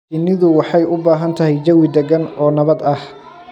Shinnidu waxay u baahan tahay jawi degan oo nabad ah.